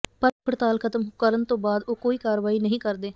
ਪਰ ਭੁੱਖ ਹੜਤਾਲ ਖਤਮ ਕਰਨ ਤੋਂ ਬਾਅਦ ਉਹ ਕੋਈ ਕਾਰਵਾਈ ਨਹੀਂ ਕਰਦੇ